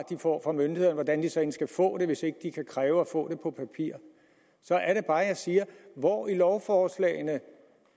de får fra myndighederne hvordan de så end skal få det hvis ikke de kan kræve at få det på papir så er det bare jeg siger hvor i lovforslagene